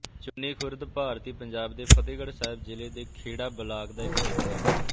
ਚੂੰਨੀ ਖ਼ੁਰਦ ਭਾਰਤੀ ਪੰਜਾਬ ਦੇ ਫ਼ਤਹਿਗੜ੍ਹ ਸਾਹਿਬ ਜ਼ਿਲ੍ਹੇ ਦੇ ਖੇੜਾ ਬਲਾਕ ਦਾ ਇੱਕ ਪਿੰਡ ਹੈ